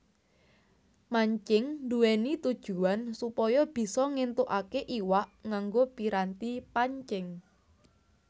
Mancing nduwèni tujuwan supaya bisa ngéntukaké iwak nganggo piranti pancing